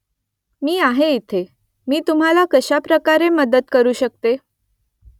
मी आहे इथे . मी तुम्हाला कशाप्रकारे मदत करू शकते ?